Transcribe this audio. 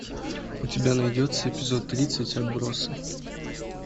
у тебя найдется эпизод тридцать отбросы